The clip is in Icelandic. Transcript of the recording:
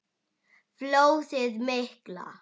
Flóðið mikla